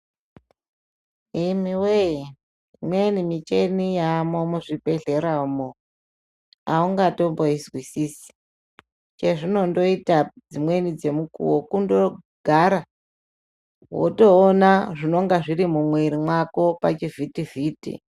Imiwoye imweni muchini yamo muzvibhehlera umo aungaizwisisi chezvinondoita dzimweni dzemukuwo kundogara wotoona zvinonga zviri mumwiri wako pachivhitivhiti.